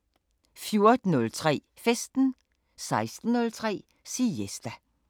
14:03: Festen 16:03: Siesta